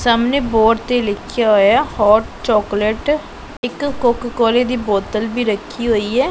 ਸਾਹਮਣੇ ਬੋਰਡ ਤੇ ਲਿਖਿਆ ਹੋਇਆ ਹੋਟ ਚੋਕਲੇਟ ਇੱਕ ਕੋਕ ਕੋਲੇ ਦੀ ਬੋਤਲ ਭੀ ਰੱਖੀ ਹੋਈ ਐ।